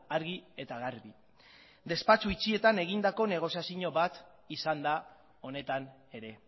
argi eta garbi despatsu itxietan egindako negoziazio bat izan da honetan ere